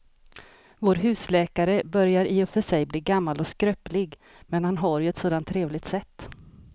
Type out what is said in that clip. Vår husläkare börjar i och för sig bli gammal och skröplig, men han har ju ett sådant trevligt sätt!